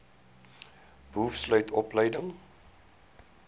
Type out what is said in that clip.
boov sluit opleiding